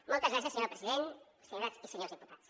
moltes gràcies senyora presidenta senyores i senyors diputats